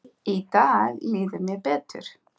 Í dag líður mér betur.